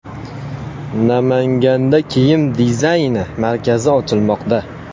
Namanganda kiyim dizayni markazi ochilmoqda.